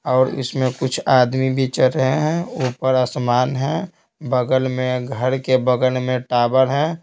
और इसमें कुछ आदमी भी चल रहे हैं ऊपर आसमान है बगल में घर के बगल में टावर है।